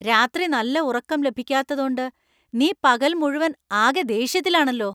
രാത്രി നല്ല ഉറക്കം ലഭിക്കാത്തതോണ്ട് നീ പകൽ മുഴുവൻ ആകെ ദേഷ്യത്തിലാണല്ലോ .